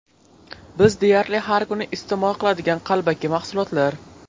Biz deyarli har kuni iste’mol qiladigan qalbaki mahsulotlar.